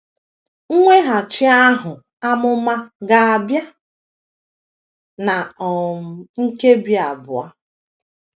Mweghachi ahụ ’amụma ga - abịa ná um nkebi abụọ.